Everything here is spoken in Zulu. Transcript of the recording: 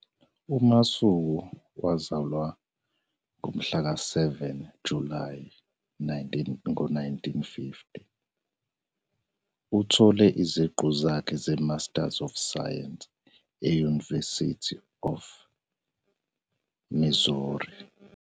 UMasuku wazalwa ngomhlaka 7 Julayi 1950. Uthole iziqu zakhe zeMasters of Science e- University of Missouri.